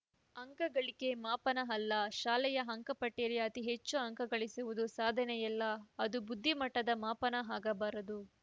ಅಂಕಗಳಿಕೆ ಮಾಪನ ಅಲ್ಲ ಶಾಲೆಯ ಅಂಕಪಟ್ಟಿಯಲ್ಲಿ ಅತಿ ಹೆಚ್ಚು ಅಂಕ ಗಳಿಸುವುದು ಸಾಧನೆಯಲ್ಲ ಅದು ಬುದ್ದಿಮಟ್ಟದ ಮಾಪನ ಆಗಬಾರದು